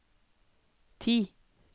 ti